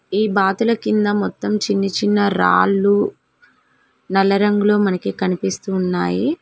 ఈ బాతుల కింద మొత్తం చిన్నచిన్న రాళ్లు నల్ల రంగులో మనకి కనిపిస్తున్నాయి.